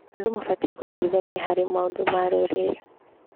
Andũ mabatiĩ gũteithania harĩ maũndũ ma rũrĩrĩ.